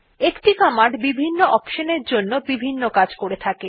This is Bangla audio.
একটি কমান্ড বিভিন্ন অপশন এর জন্য বিভিন্ন কাজ করে থাকে